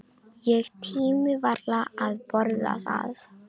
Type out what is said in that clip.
Ég tími varla að borða það.